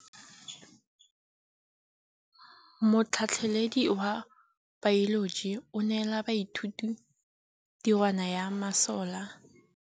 Motlhatlhaledi wa baeloji o neela baithuti tirwana ya mosola wa peniselene.